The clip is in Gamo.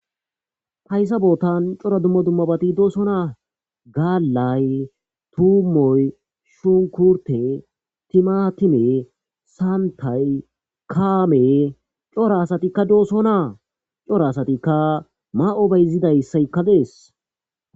Haysa bootani cora dumma dumma bati dosona gaalayi tumoyi, shunkurteyi, timatimey, kantayi ,kaameyi, cora asatika dosona. Cora asatika mayo bayzisaska desi.